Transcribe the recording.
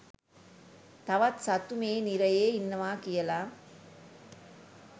තවත් සත්තු මේ නිරයේ ඉන්නවා කියලා.